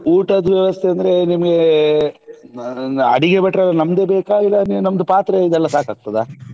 ಊಟದ್ದು ವ್ಯವಸ್ಥೆ ಅಂದ್ರೆ ನಿಮ್ಗೆ ಅಹ್ ಅಡುಗೆ ಭಟ್ರ್ ನಮ್ದು ಬೇಕಾ ಇಲ್ಲಾ ನೀವ್ ನಮ್ದು ಪಾತ್ರೆ ಇದೆಲ್ಲ ಸಾಕಾಗ್ತದ?